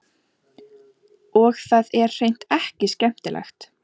Og það er hreint ekki skemmtilegt.